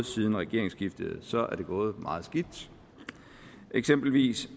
siden regeringsskiftet så er det gået meget skidt eksempelvis